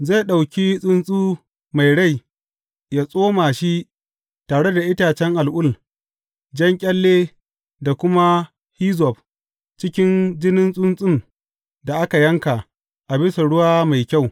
Zai ɗauki tsuntsu mai rai ya tsoma shi tare da itacen al’ul, jan ƙyalle da kuma hizzob cikin jinin tsuntsun da aka yanka a bisa ruwa mai kyau.